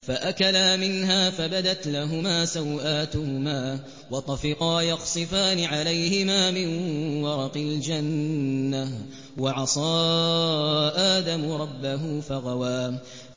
فَأَكَلَا مِنْهَا فَبَدَتْ لَهُمَا سَوْآتُهُمَا وَطَفِقَا يَخْصِفَانِ عَلَيْهِمَا مِن وَرَقِ الْجَنَّةِ ۚ وَعَصَىٰ آدَمُ رَبَّهُ فَغَوَىٰ